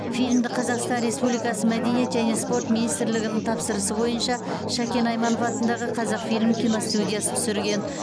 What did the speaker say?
фильмді қазақстан республикасы мәдениет және спорт министрлігінің тапсырысы бойынша шәкен айманов атындағы қазақфильм киностудиясы түсірген